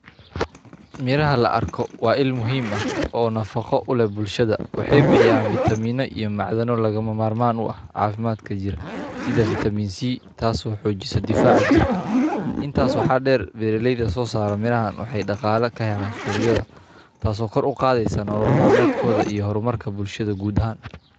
Miranha la arko waa ilmuhiim ah oo nafaqo leh bulshada. Waxay bixiyaan vitamin o iyo macdano lagama maarmaan u ah caafimaadka jira sida vitamin C taas oo xoojisa difaaca jirka. Intaas waxaa dheer berelayda soo saaro mirnaheenna waxay dhaqaale ka heleen suuqyada. Taaso kor u qaadeysan nolol maalmeedkooda iyo horumarka bulshada guud ahan.